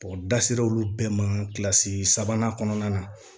da sera olu bɛɛ ma kilasi sabanan kɔnɔna na